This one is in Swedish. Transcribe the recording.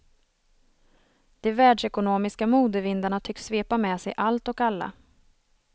De världsekonomiska modevindarna tycks svepa med sig allt och alla.